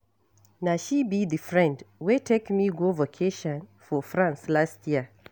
Na she be the friend wey take me go vacation for France last year